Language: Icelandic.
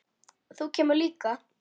Þú kemur líka.